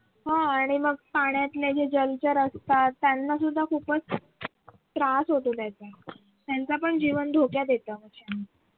हो आणि मग पाण्यातले जे जलचर असतात त्याना सुद्धा खूपच त्रास होतो त्याचा त्यांचं पण जीवन धोक्यात येत.